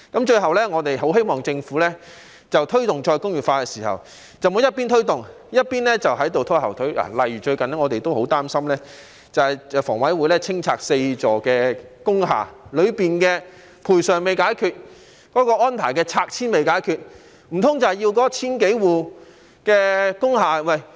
最後，我們很希望政府在推動再工業化的時候，不要一邊推動，一邊拖後腿，例如最近我們也十分擔心，房委會將清拆4座工廈，當中的賠償和拆遷安排尚未解決，難道要那千多戶工廈的......